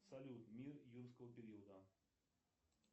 салют мир юрского периода